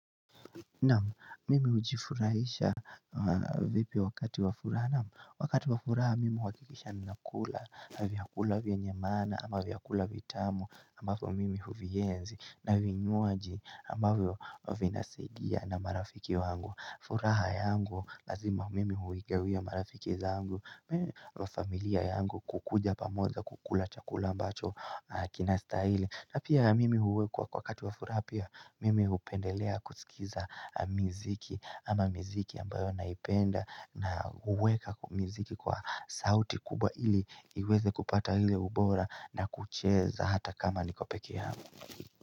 Naam, mimi ujifurahisha vipi wakati wafuraha. Naamu, wakati wafuraha mimi wakikisha na kula na vyakula vya nyemana ama vyakula vitamu ambapo mimi huvienzi na vinyuaji ambapo vinasidia na marafiki wangu. Furaha yangu lazima mimi huigawia marafiki zangu Mimi wa familia yangu kukuja pamoja kukula chakula ambacho kinasta hili na pia mimi huwe kwa kwa kati wa furaha pia mimi upendelea kusikiza miziki ama miziki ambayo naipenda na huweka miziki kwa sauti kubwaili iweze kupata hile ubora na kucheza hata kama niko peke angu.